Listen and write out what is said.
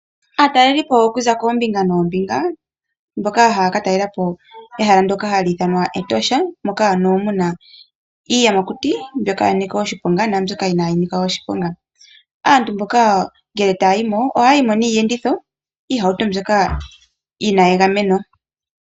Aatalelipo okuza koombinga noombinga mboka haya ka talela po ehala ndoka hali ithanwa Etosha moka ano muna iiyamakuti mbyoka ya Nika oshiponga naambyoka inaayi Nika oshiponga ngele ihe taa yimo ohaaayimo niiyenditho ano iihauto mbyoka yina egameno.